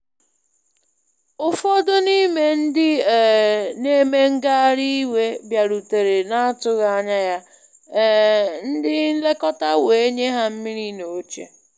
Ụfọdụ n’ime ndị um na-eme ngagharị iwe bịarutere na-atụghị anya ya, um ndị nlekọta wee nye ha mmiri na oche.